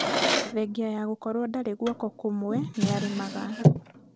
thengia ya gũkorwo ndarĩ guoko kũmwe nĩarĩmaga